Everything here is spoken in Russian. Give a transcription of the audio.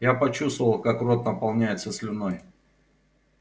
я почувствовал как рот наполняется слюной